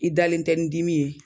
I dalen tɛ ni dimi ye